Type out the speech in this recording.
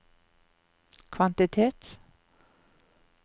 kvantitet